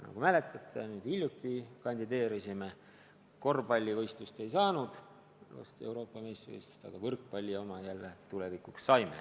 Nagu mäletate, alles hiljuti me kandideerisime, aga korvpallis Euroopa meistrivõistlusi me ei saanud, kuid võrkpalli omad jälle saime.